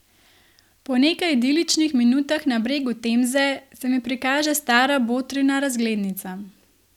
Po nekaj idiličnih minutah na bregu Temze se mi prikaže stara botrina razglednica.